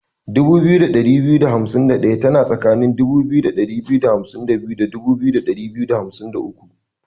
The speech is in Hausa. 2251 tana tsakanin 2252 da 2253.